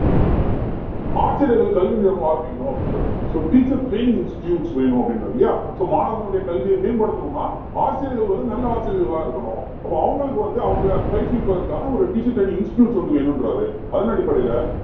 ஆசிரியர்கள் கல்வி நிறுவனம் ஆரம்பிக்கணும் அப்படின்றாரு so teacher training institutes வேணும் அப்படின்றாரு இல்லையா so மாணவர்களுடைய கல்வியை மேம்படுத்தணும்னா ஆசிரியர்கள் வந்து நல்ல ஆசிரியர்களா இருக்கணும் அப்ப அவங்களுக்கு வந்து அவங்களை பயிற்றுவிப்பதற்காக ஒரு teacher training institutes ஒண்ணு வந்து வேணுன்றாரு அதன் அடிப்படையில